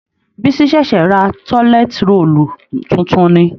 Bisi ṣẹ̀ṣẹ̀ ra tọ́lẹt roòlù tuntun ni